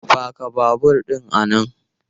Paka babur ɗin a nan!